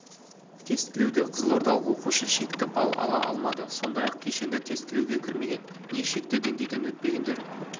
тестілеуде қызылордалық оқушы шекті балл ала алмады сондай-ақ кешенді тестілеуге кірмеген не шекті деңгейден өтпегендер